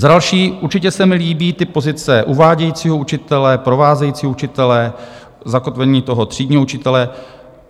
Za další, určitě se mi líbí ty pozice uvádějícího učitele, provázejícího učitele, zakotvení toho třídního učitele.